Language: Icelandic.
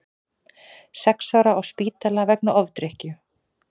Sex ára á spítala vegna ofdrykkju